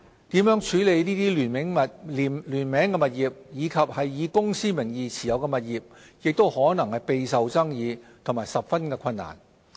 如何處理聯名物業及以公司名義持有物業亦可能備受爭議和十分困難。